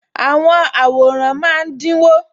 Àwọn àwòrán máa dínwó